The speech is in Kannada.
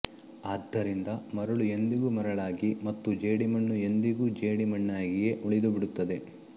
ಆದ್ದರಿಂದ ಮರಳು ಎಂದಿಗೂ ಮರಳಾಗಿ ಮತ್ತು ಜೇಡಿ ಮಣ್ಣು ಎಂದಿಗೂ ಜೇಡಿ ಮಣ್ಣಾಗಿಯೇ ಉಳಿದು ಬಿಡುತ್ತದೆ